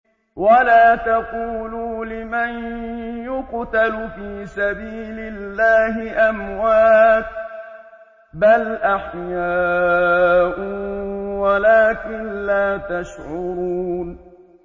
وَلَا تَقُولُوا لِمَن يُقْتَلُ فِي سَبِيلِ اللَّهِ أَمْوَاتٌ ۚ بَلْ أَحْيَاءٌ وَلَٰكِن لَّا تَشْعُرُونَ